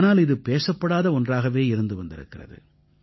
ஆனால் இது பேசப்படாத ஒன்றாகவே இருந்திருக்கிறது